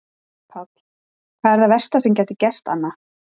Páll: Hvað er það versta sem gæti gerst Anna?